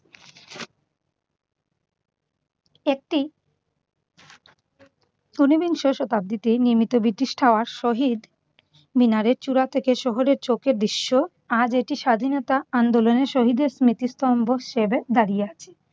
একটি উনিবিংশ শতাব্দীতে নির্মিত ব্রিটিশ টাওয়ার শহীদ মিনারের চূড়া থেকে শহরের দৃশ্য। আজ এটি স্বাধীনতা আন্দোলনের শহীদের স্মৃতিস্তম্ভ হিসেবে দাঁড়িয়ে আছে।